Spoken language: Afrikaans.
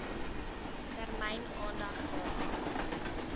termyn aandag daaraan